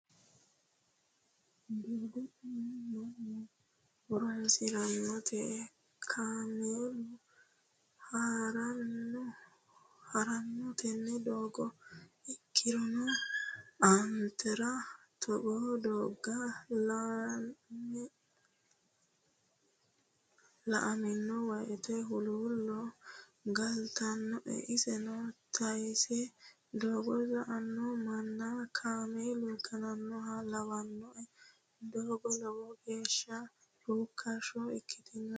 Doogo tini mannu horonsiranote kaameeluno harano tene doogo ikkirono anera togoo doogga laeemmo woyte huluulo galtanoe iseno tayise doogo sa"ano manna kaameelu gananoha lawanoe doogo lowo geeshsha rukkasho ikkitino daafira.